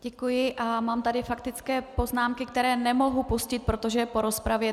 Děkuji a mám tady faktické poznámky, které nemohu pustit, protože je po rozpravě.